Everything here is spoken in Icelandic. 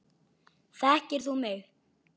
Þekkir þú mig?